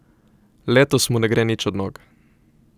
Letos mu ne gre nič od nog.